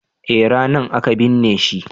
eh ranan aka binne shi